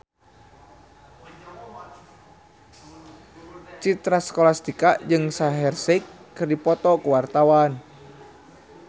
Citra Scholastika jeung Shaheer Sheikh keur dipoto ku wartawan